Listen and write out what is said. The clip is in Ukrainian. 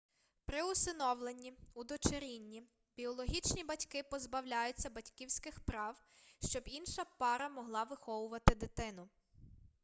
при усиновленні удочерінні біологічні батьки позбавляються батьківських прав щоб інша пара могла виховувати дитину